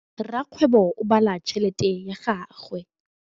Rakgwêbô o bala tšheletê ya gagwe.